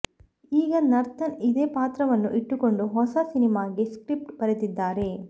ಈಗ ನರ್ತನ್ ಇದೇ ಪಾತ್ರವನ್ನು ಇಟ್ಟುಕೊಂಡು ಹೊಸ ಸಿನಿಮಾಗೆ ಸ್ಕ್ರಿಪ್ಟ್ ಬರೆದಿದ್ದಾರೆ